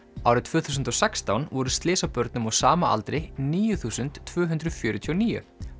árið tvö þúsund og sextán voru slys á börnum á sama aldri níu þúsund tvö hundruð fjörutíu og níu